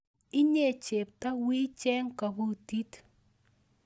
Inye chepto wii cheg kobutit